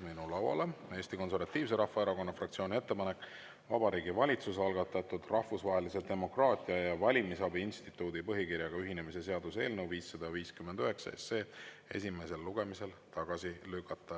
minu lauale Eesti Konservatiivse Rahvaerakonna fraktsiooni ettepanek Vabariigi Valitsuse algatatud Rahvusvahelise Demokraatia ja Valimisabi Instituudi põhikirjaga ühinemise seaduse eelnõu 559 esimesel lugemisel tagasi lükata.